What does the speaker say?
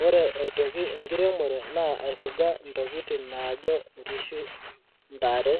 woore aitoki enkiremore naa aifuga ntokitin naajo nkishu, ntare